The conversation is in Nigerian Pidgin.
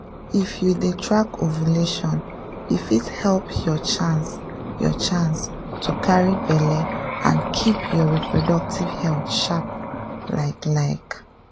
if you dey track ovulation e fit help your chance your chance to carry belle and keep your reproductive health sharp like like.